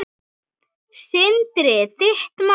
Sindri: Þitt mat?